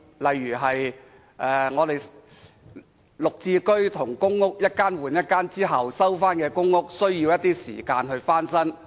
例如，綠置居和公屋一間換一間後，回收的公屋需時翻新。